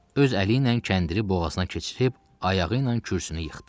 Öz əli ilə kəndiri boğazına keçirib, ayağı ilə kürsünü yıxdı.